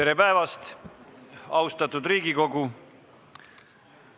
Tere päevast, austatud Riigikogu!